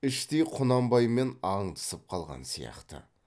іштей құнанбаймен аңдысып қалған сияқты